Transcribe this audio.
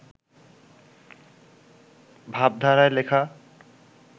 ভাবধারায় লেখা